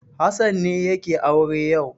Hassan ne yake aure yau.